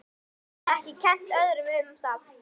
Hún getur ekki kennt öðrum um það.